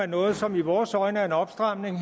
noget her som i vores øjne er en opstramning